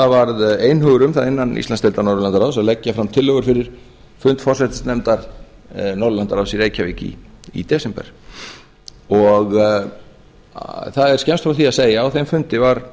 varð einhugur um það innan íslandsdeildar norðurlandaráðs að leggja fram tillögur fyrir fund forsætisnefndar norðurlandaráðs í reykjavík í desember það er skemmst frá því að segja að á þeim fundi